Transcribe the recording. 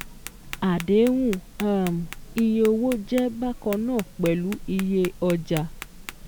Àdéhùn um iye owó jẹ́ bákan náà pẹ̀lú iyé ọjà